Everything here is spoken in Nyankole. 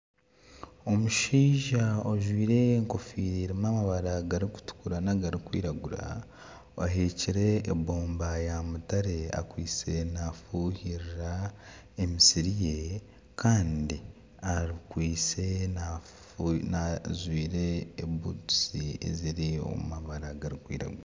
Omushaija ojwaire egofiira erimu amabara garikutukura nagarikwiragura aheekire ebomba ya mutare akwaitse nafuhirira emisiri ye kandi akwaitse ajwaire ebutusi eziri omu mabara garikwiragura.